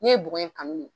Ne ye bɔgɔ in kanu de